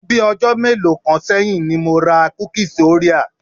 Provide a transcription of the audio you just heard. Ni bii ọjọ́ mélòó kan sẹ́yìn ni mo ra kúkíes orea.